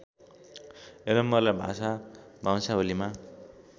यलम्बरलाई भाषा वंशावलीमा